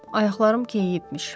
Ayaqlarım keyiyibmiş.